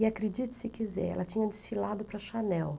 E acredite se quiser, ela tinha desfilado para a Channel.